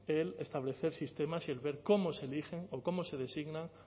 el establecer sistemas y el ver cómo se eligen o cómo se designa